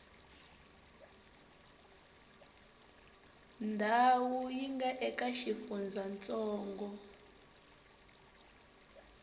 ndhawu yi nga eka xifundzantsongo